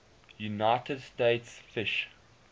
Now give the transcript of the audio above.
united states fish